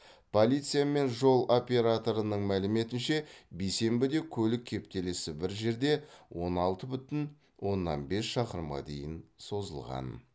полиция мен жол операторының мәліметінше бейсенбіде көлік кептелісі бір жерде он алты бүтін оннан бес шақырымға дейін созылған